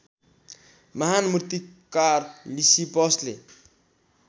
महान मूर्तिकार लिसिपसले